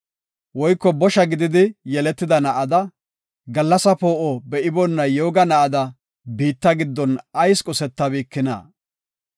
Woyko bosha gididi yeletida na7ada, gallasa poo7o be7iboona yooga na7ada biitta giddon ayis qosetabikina?